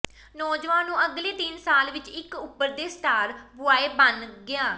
ਨੌਜਵਾਨ ਨੂੰ ਅਗਲੇ ਤਿੰਨ ਸਾਲ ਵਿੱਚ ਇੱਕ ਉਭਰਦੇ ਸਟਾਰ ਬੁਆਏ ਬਣ ਗਿਆ